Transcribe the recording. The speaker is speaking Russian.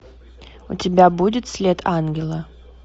у тебя будет след ангела